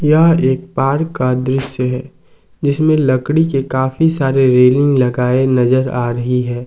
यह एक पार्क का दृश्य है जिसमें लकड़ी के काफी सारे रेलिंग लगाई नजर आ रही है।